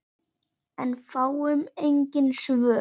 En fáum engin svör.